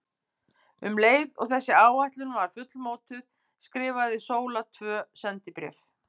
Um leið og þessi áætlun var fullmótuð skrifaði Sóla tvö sendibréf.